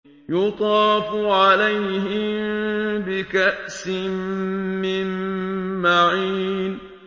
يُطَافُ عَلَيْهِم بِكَأْسٍ مِّن مَّعِينٍ